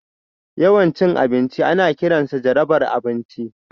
Yawan cin abinci ana kiransa jarabar abinci